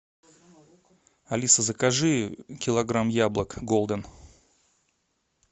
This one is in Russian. алиса закажи килограмм яблок голден